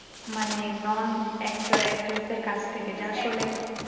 মানে non actor actress দের কাছ থেকে যা